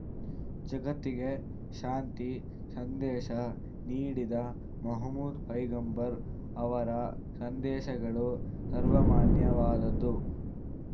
ಜಗತ್ತಿಗೆ ಶಾಂತಿ ಸಂದೇಶ ನೀಡಿದ ಮೊಹಮದ್‌ ಪೈಗಂಬರ್‌ ಅವರ ಸಂದೇಶಗಳು ಸರ್ವಮಾನ್ಯವಾದುದು